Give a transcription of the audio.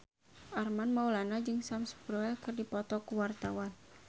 Armand Maulana jeung Sam Spruell keur dipoto ku wartawan